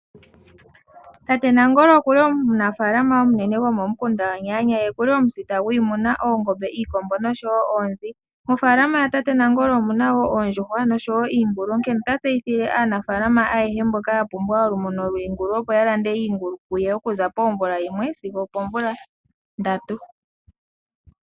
Tate Nangolo okuli imunafaalama omunene go momukanda Onyaanya ye okuli omusita gwiimuna oongombe, iikombo noshowo oonzi. Mofaalama yatate Nangolo omuna wo oondjuhwa noshowo iingulu onkene ota tseyithile aanafaalama ayehe mboka ya pumbwa olumuno lwiingulu opo ya lande iingulu kuye okuza pomvula yimwe sigo opoomvula ndatu.